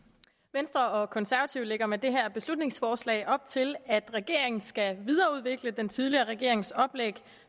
venstre og konservative lægger med det her beslutningsforslag op til at regeringen skal videreudvikle den tidligere regerings oplæg